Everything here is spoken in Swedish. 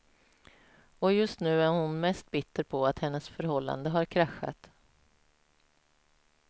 Och just nu är hon mest bitter på att hennes förhållande har kraschat.